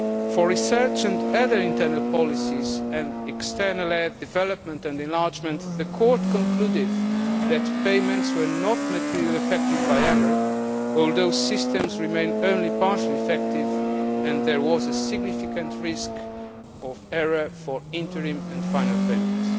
For research and other internal policies and external aid, development and enlargement, the Court concluded that payments were not materially affected by error, although systems remained only partially effective and there was a significant risk of error for interim and final payments.